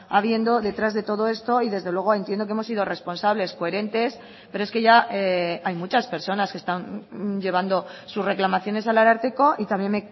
habiendo detrás de todo esto y desde luego entiendo que hemos sido responsables coherentes pero es que ya hay muchas personas que están llevando sus reclamaciones al ararteko y también